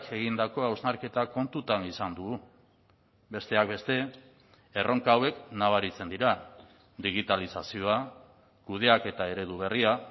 egindako hausnarketa kontutan izan dugu besteak beste erronka hauek nabaritzen dira digitalizazioa kudeaketa eredu berria